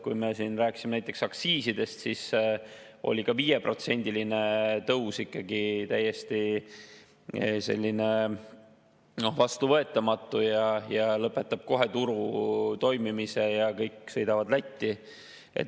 Kui me siin rääkisime aktsiisidest, siis oli ka 5%‑line tõus ikkagi täiesti vastuvõetamatu, sest see nagu lõpetaks kohe turu toimimise ja kõik sõidaksid Lätti.